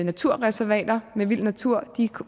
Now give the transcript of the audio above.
naturreservater med vild natur de